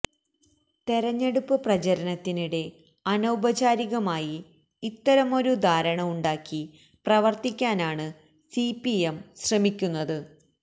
തെരഞ്ഞെടുപ്പ് പ്രചാരണത്തിനിടെ അനൌപചാരികമായി ഇത്തരമൊരു ധാരണ ഉണ്ടാക്കി പ്രവർത്തിക്കാനാണ് സിപിഎം ശ്രമിക്കുന്നത്